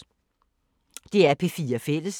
DR P4 Fælles